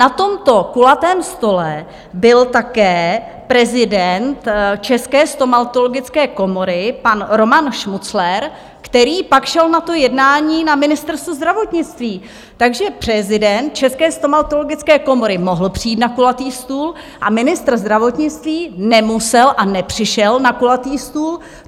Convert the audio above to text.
Na tomto kulatém stole byl také prezident České stomatologické komory pan Roman Šmucler, který pak šel na to jednání na Ministerstvo zdravotnictví, takže prezident České stomatologické komory mohl přijít na kulatý stůl a ministr zdravotnictví nemusel a nepřišel na kulatý stůl.